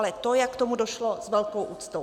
Ale to, jak k tomu došlo, s velkou úctou.